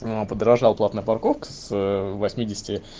аа подорожала платная парковка с восьмидесяти